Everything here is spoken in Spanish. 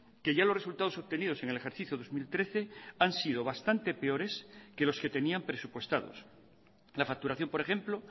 que ya los resultados obtenidos en el ejercicio dos mil trece han sido bastante peores que los que tenían presupuestados la facturación por ejemplo